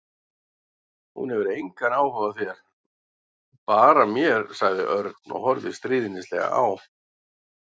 Hún hefur engan áhuga á þér, bara mér sagði Örn og horfði stríðnislega á